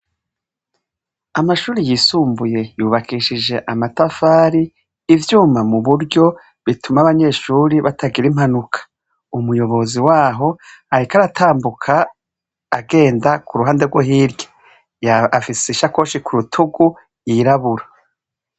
Amashure yisumbuye yubakishije amatafari ivyuma muburyo bituma abanyeshure batagira impanuka, umuyobozi waho ariko aratambuka agenda kuruhande rwo hirya, afise isakoshi kurutugu yirabura.